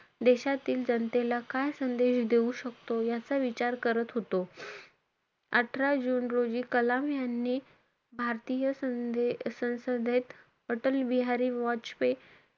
देशातील जनतेला काय संदेश देऊ शकतो? याचा विचार करत होतो. अठरा जुन रोजी कलाम यांनी भारतीय सन~ संसदेत अटल बिहारी वाजपेयी,